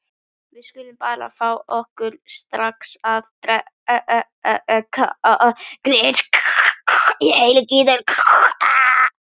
Við skulum bara fá okkur strax að drekka.